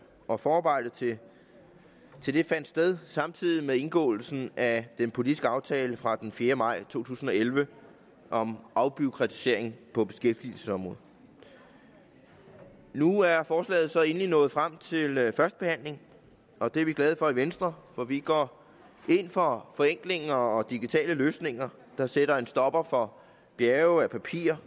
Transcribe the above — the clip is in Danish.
og forarbejdet til til det fandt sted samtidig med indgåelsen af den politiske aftale fra den fjerde maj to tusind og elleve om afbureaukratisering på beskæftigelsesområdet nu er forslaget så endelig nået frem til første behandling og det er vi glade for venstre for vi går ind for forenklinger og digitale løsninger der sætter en stopper for bjerge af papirer